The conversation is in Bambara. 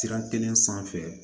Sira kelen sanfɛ